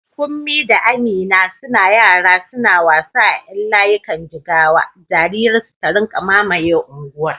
Kunmi da Amina suna yara suna wasa a ƴan layikan jigawa, dariyar su ta rinƙa mamaye unguwar.